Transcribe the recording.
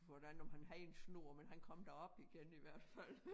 Hvordan om han havde en snor men han kom da op igen i hvert fald